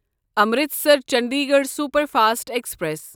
Amritsar Chandigarh superfast express